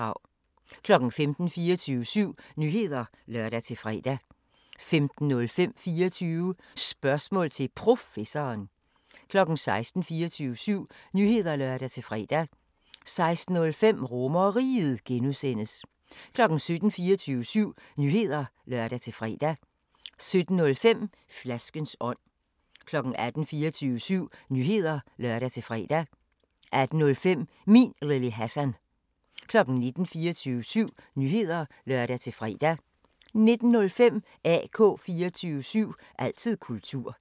15:00: 24syv Nyheder (lør-fre) 15:05: 24 Spørgsmål til Professoren 16:00: 24syv Nyheder (lør-fre) 16:05: RomerRiget (G) 17:00: 24syv Nyheder (lør-fre) 17:05: Flaskens ånd 18:00: 24syv Nyheder (lør-fre) 18:05: Min Lille Hassan 19:00: 24syv Nyheder (lør-fre) 19:05: AK 24syv – altid kultur